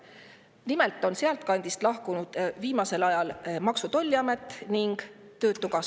Nimelt on sealtkandist lahkunud viimasel ajal Maksu- ja Tolliamet ning töötukassa.